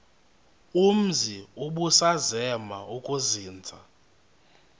umzi ubusazema ukuzinza